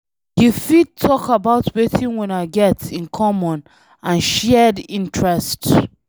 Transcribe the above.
You fit talk about wetin una get in common and shared interest